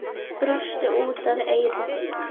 Brosti út að eyrum.